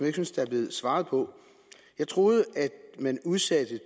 ikke synes der blev svaret på jeg troede at man udsatte